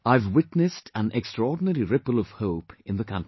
I have witnessed an extraordinary ripple of hope in the country